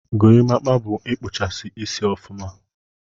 Gorimapa bu ikpụchasi isi ọfụma.